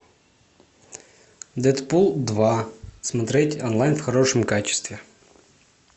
дэдпул два смотреть онлайн в хорошем качестве